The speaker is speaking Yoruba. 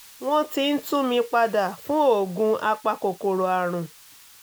wọ́n ti ń tún mi padà fún oògùn apakòkòrò àrùn